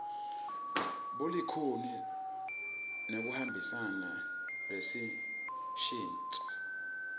bulikhuni nekuhambisana nelushintso